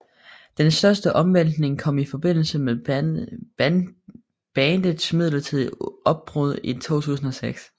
Den største omvæltning kom i forbindelse med bandets midlertidige opbrud i 2006